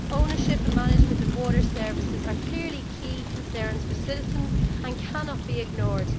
Ownership and management of water services are clearly key concerns for citizens and cannot be ignored.